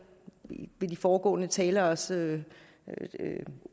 ved de foregående taleres